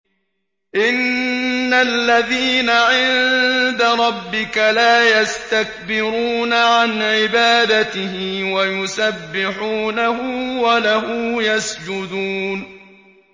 إِنَّ الَّذِينَ عِندَ رَبِّكَ لَا يَسْتَكْبِرُونَ عَنْ عِبَادَتِهِ وَيُسَبِّحُونَهُ وَلَهُ يَسْجُدُونَ ۩